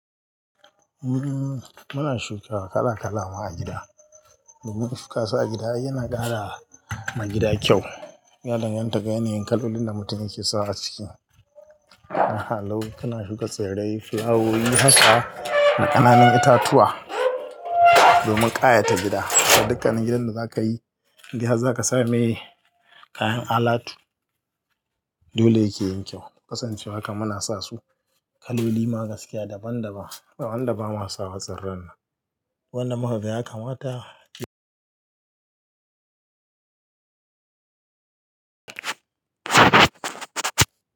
Umm, muna shuka kala-kalama a gida. Domin shukasu a gida ai yana ƙara ma gida kyau. Ya danganta ga yanayin kalolin da mutum yake sawa aciki. Aha lau kana shuka tsirrai, flawowi haka da ƙananun itatuwa domin ƙayata gida. Dukkanin gidan da za ka yi, indai har za ka sa mai kayan alatu. Dole yake yin kyau. Kasancewa haka muna sa su kaloli ma gaskiya daban-daban. Ba wanda ba ma sawa tsirran nan. Wanda muka ga yakamata.